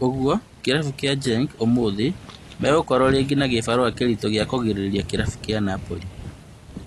Ũguo kĩrabu kĩa Genk ũmũthĩ megokorwo rĩngĩ na kĩbarũa kĩritũ gĩa kũgirĩria kĩrabu kĩa Napoli